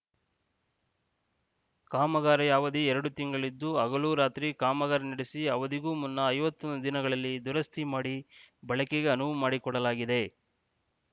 ಕಾಮಗಾರಿಯ ಅವಧಿ ಎರಡು ತಿಂಗಳಿದ್ದು ಹಗಲು ರಾತ್ರಿ ಕಾಮಗಾರಿ ನಡೆಸಿ ಅವಧಿಗೂ ಮುನ್ನ ಐವತ್ತು ದಿನಗಳಲ್ಲಿ ದುರಸ್ತಿ ಮಾಡಿ ಬಳಕೆಗೆ ಅನುವು ಮಾಡಿಕೊಡಲಾಗಿದೆ